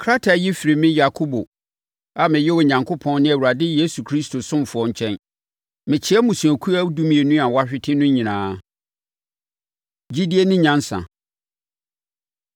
Krataa yi firi me Yakobo a meyɛ Onyankopɔn ne Awurade Yesu Kristo ɔsomfoɔ nkyɛn, Mekyea mmusuakuo dumienu a wɔahwete no nyinaa. Gyidie Ne Nyansa